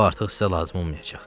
O artıq sizə lazım olmayacaq.